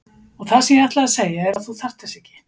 Og það sem ég ætlaði að segja er að þú þarft þess ekki.